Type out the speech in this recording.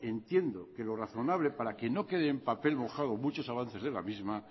entiendo que lo razonable para que no quede en papel mojado muchos avances de la misma